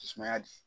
Sumaya de